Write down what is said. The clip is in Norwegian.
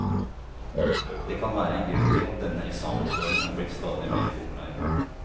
Det kan være én grunn til at denne eksamensformen er blitt stadig mer populær.